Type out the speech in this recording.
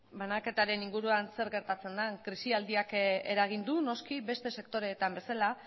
banaketaren inguruan zer gertatzen den krisialdiak eragin du noski beste sektoreetan bezala